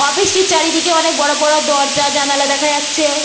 Office -টির চারিদিকে অনেক বড়ো বড়ো দরজা জানালা দেখা যাচ্ছে।